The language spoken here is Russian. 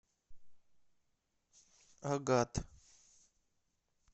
агат